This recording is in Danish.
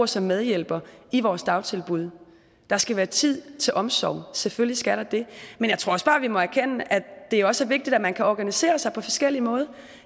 som medhjælper i vores dagtilbud der skal være tid til omsorg selvfølgelig skal der det men jeg tror også bare vi må erkende at det også er vigtigt at man kan organisere sig på forskellige måder